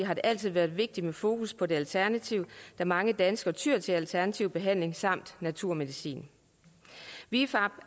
har det altid været vigtigt med fokus på det alternative da mange danskere tyer til alternativ behandling samt naturmedicin vifab